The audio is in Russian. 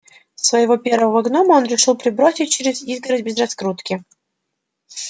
своего первого гнома он решил перебросить через изгородь без раскрутки